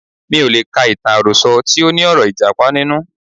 Mi ò lè ka ìtàn àròsọ tí óní ọ̀rọ̀ Ìjàpá nínú.